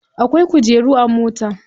Akwai kujeru a mota.